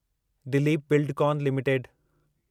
Dilip Buildcon limited